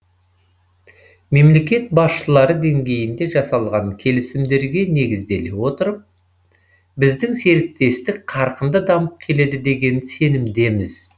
мемлекет басшылары деңгейінде жасалған келісімдерге негізделе отырып біздің серіктестік қарқынды дамып келеді деген сенімдеміз